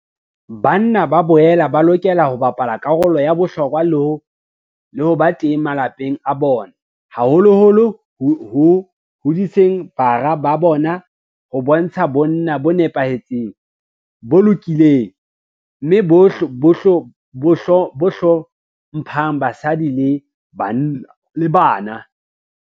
Banna ba boela ba lokela ho bapala karolo ya bohlokwa le ho ba teng malapeng a bona, haholoholo ho hodiseng bara ba bona ho bontsha bonna bo nepahetseng, bo lokileng mme bo hlo mphang basadi le bana.